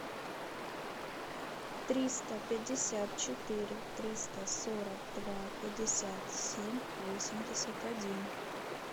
триста пятьдесят четыре триста сорок два пятьдесят семь восемьдесят один